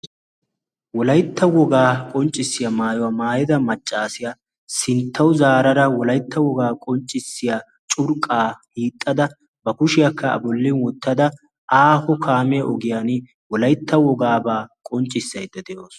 wolaytta wogaa qonccissiyaa maayuwaa maayada maccaasiyaa sinttawu zaarara wolaytta wogaa qonccissiya curqqaa hiixxada ba kushiyaakka a bolli wottada aaho kaamiya ogiyan wolaytta wogaabaa qonccissaydda de'oosona